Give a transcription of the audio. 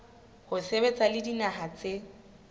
ho sebetsa le dinaha tse